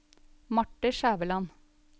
Marthe Skjæveland